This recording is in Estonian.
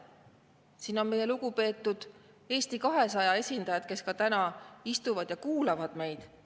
Siin on meie lugupeetud Eesti 200 esindajad, kes ka täna istuvad ja kuulavad meid.